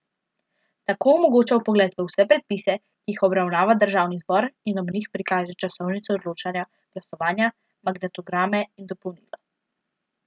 Tako omogoča vpogled v vse predpise, ki jih obravnava državni zbor in ob njih prikaže časovnico odločanja, glasovanja, magnetograme in dopolnila.